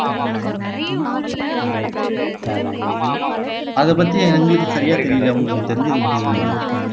அதை பத்தி எங்களுக்கு சரியா தெரியல உங்களுக்கு தெரிஞ்சது மட்டும் சொல்லுங்க